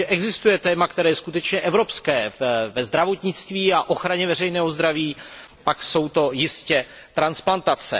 Jestliže existuje téma, které je skutečně evropské ve zdravotnictví a ochraně veřejného zdraví, pak jsou to jistě transplantace.